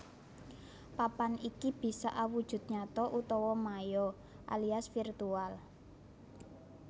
Papan iki bisa awujud nyata utawa maya alias virtual